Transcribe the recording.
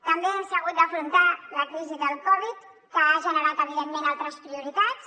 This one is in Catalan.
també s’ha hagut d’afrontar la crisi de la covid que ha generat evidentment altres prioritats